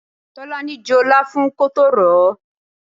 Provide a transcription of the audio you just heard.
Tolani jọ láfún kótó ròó.